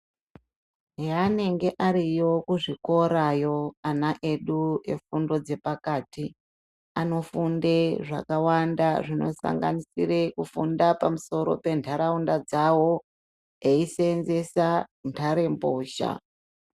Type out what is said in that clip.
Heanenge ariyo kuzvikorayo ana edu efundo dzepakati, anofunde zvakawanda zvinosanganisire kufunda pamusoro pentaraunda dzavo, eisenzeesa ntarembozha.